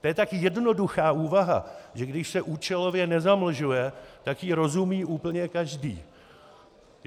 To je tak jednoduchá úvaha, že když se účelově nezamlžuje, tak jí rozumí úplně každý.